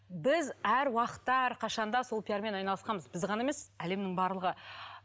біз әр уақытта әрқашанда сол пиармен айналысқанбыз біз ғана емес әлемнің барлығы